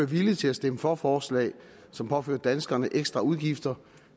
villig til at stemme for forslag som påfører danskerne ekstra udgifter